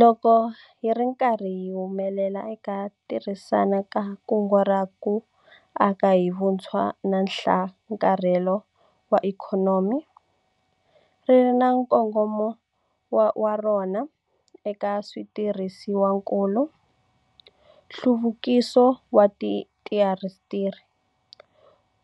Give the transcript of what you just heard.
Loko hi ri karhi hi humelela eku tirhiseni ka kungu ra ku Aka hi Vutshwa na Nhlakarhelo wa Ikhonomi - ri ri na nkongomo wa rona eka switirhisiwakulu, nhluvukiso wa tiindasitiri,